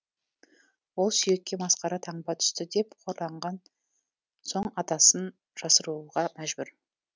ол сүйекке масқара таңба түсті деп қорланған соң атасын жасыруға мәжбүр